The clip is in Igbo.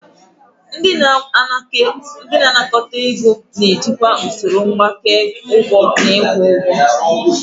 Ndị na-anakọta ego na-ejikwa usoro mgbake ụgwọ na ịkwụ ụgwọ.